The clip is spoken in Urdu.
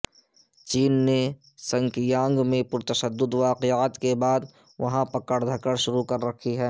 چین نے سنکیانگ میں پرتشدد واقعات کے بعد وہاں پکڑ دھکڑ شروع کر رکھی ہے